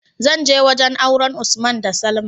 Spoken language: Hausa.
zanje wajan auren usman da salma